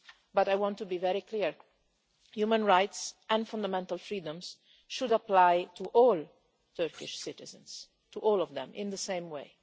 but I want to be very clear human rights and fundamental freedoms should apply to all Turkish citizens, to all of them in the same way.